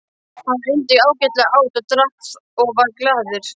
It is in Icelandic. Hann undi sér ágætlega, át og drakk og var glaður.